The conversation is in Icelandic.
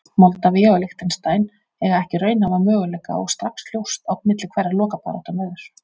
Moldavía og Liechtenstein eiga ekki raunhæfa möguleika og strax ljóst á milli hverra lokabaráttan verður.